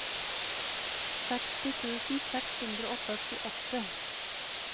sekstien tusen seks hundre og førtiåtte